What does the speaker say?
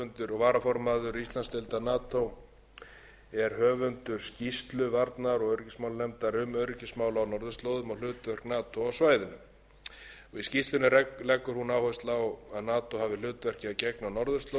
varaformaður íslandsdeildar nato er höfundur skýrslu varnar og öryggismálanefndar um öryggismál á norðurslóðum og hlutverk nato á svæðinu í skýrslunni leggur hún áherslu á að nato hafi hlutverki að gegna á norðurslóðum enda teljist